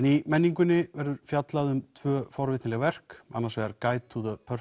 í menningunni verður fjallað tvö forvitnileg verk annars vegar Guide to the